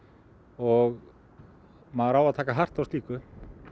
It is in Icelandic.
og maður á að taka hart á slíku